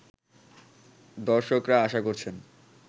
দর্শকরা আশা করছেন